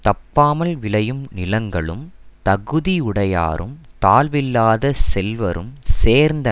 தப்பாமல் விளையும் நிலங்களும் தகுதி யுடையாரும் தாழ்வில்லாத செல்வரும் சேர்ந்த